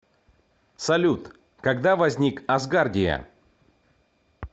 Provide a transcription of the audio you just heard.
салют когда возник асгардия